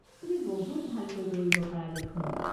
তুমি বহুত ভালকৈ দৌৰিব পাৰা দেখোন।